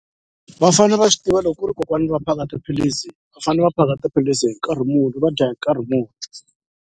Va fanele va swi tiva loko ku ri kokwana va phaka tiphilisi va fanele va phaka tiphilisi hi nkarhi muni va dya hi nkarhi muni.